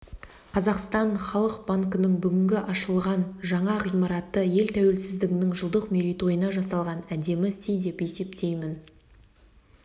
қазақстан халық банкінің бүгінгі ашылған жаңа ғимараты ел тәуелсіздігінің жылдық мерейтойына жасалған әдемі сый деп есептеймін